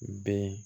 Ben